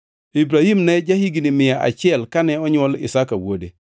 Ibrahim ne ja-higni mia achiel kane onywol Isaka wuode.